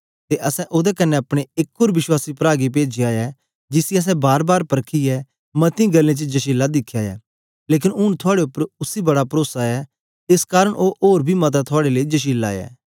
ते असैं ओदे कन्ने अपने एक ओर विश्वासी प्रा गी पेजाया ऐ जिसी असैं बारबार परखीयै मती गल्लें च जशीला दिखया ऐ लेकन ऊन थुआड़े उपर उसी बड़ा परोसा ऐ एस कारन ओ ओर बी मता थुआड़े लेई जशीला ऐ